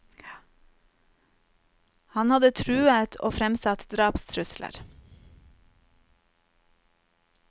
Han hadde truet og fremsatt drapstrusler.